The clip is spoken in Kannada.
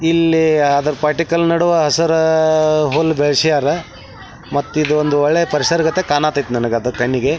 ಇಲ್ಲಿ ಅದ್ರ ಪಟ್ಟಿಕಲ್ ನಡುವ ಹಸಿರು ಹುಲ್ಲು ಬೆಲೆಸ್ಯಾರ ಮತ್ ಇದು ಒಳ್ಳೆ ಪರಿಸರ ರೀತಿ ಕಾಣತೈತಿ ನನ್ನ ಕಣ್ಣಿಗೆ.